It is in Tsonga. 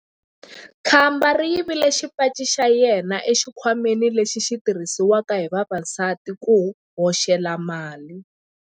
Khamba ri yivile xipaci xa yena exikhwameni lexi xi tirhisiwaka hi vavasati ku hoxela mali.